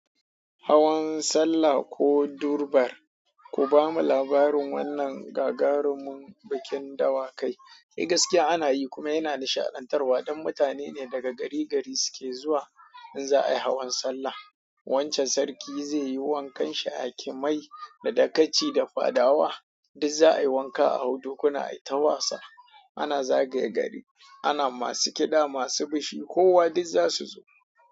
Hawan salla ko Durbar, ku bamu labarin wannan gagarumin bikin dawakai. Eh gaskiya ana yi kuma yana nishaɗan tarwa don mutane ne daga gari gari sike zuwa inza ai hawan sallah. Wancan sarki zai yi wankan shi ha kimai da dakaci da fadawa, duk za a yi wanka a hau dukuna, ai ta wasa. Ana zagaye gari, ana masu kiɗa, masu bishi kowa duk za su zo.